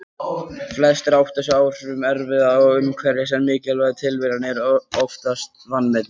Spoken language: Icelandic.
Flestir átta sig á áhrifum erfða og umhverfis en mikilvægi tilviljana er oftast vanmetið.